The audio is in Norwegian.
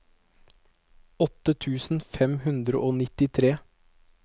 åtte tusen fem hundre og nittitre